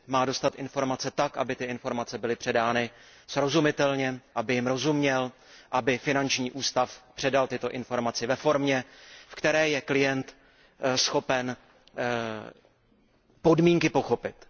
Má dostat informace tak, aby ty informace byly předány srozumitelně, aby jim rozuměl, aby finanční ústav předal tyto informace ve formě, ve které je klient schopen podmínky pochopit.